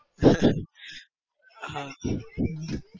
હા